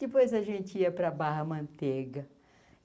Depois a gente ia para a Barra Manteiga.